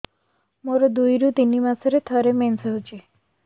ମୋର ଦୁଇରୁ ତିନି ମାସରେ ଥରେ ମେନ୍ସ ହଉଚି